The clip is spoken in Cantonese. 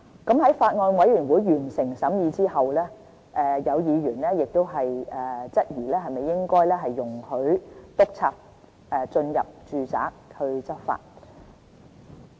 在法案委員會完成審議後，有議員質疑應否容許督察進入住宅執法。